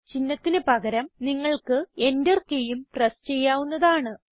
ചിഹ്നത്തിന് പകരം നിങ്ങൾക്ക് എന്റർ കീയും പ്രസ് ചെയ്യാവുന്നതാണ്